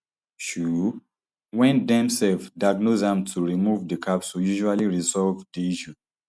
um wen dem um diagnose am to remove di capsule usually resolve di issue